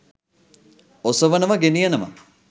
ඔසවනවා ගෙනියනවා